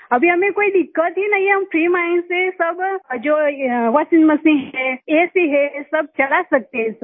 अभी हमें कोई दिक्कत ही नहीं है हम फ्री माइंड से सब ये जो वाशिंग मशीन है एसी है सब चला सकते हैं सर